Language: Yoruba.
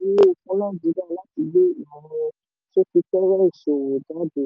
ó tẹnu mọ́ ìwúlò fún nàìjíríà láti gbé ìmọ̀ orin sọ́fítíwẹ́ ìṣòwò jáde.